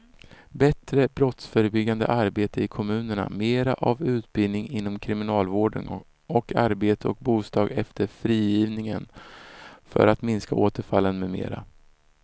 Bättre brottsförebyggande arbete i kommunerna, mera av utbildning inom kriminalvården och arbete och bostad efter frigivningen för att minska återfallen med mera.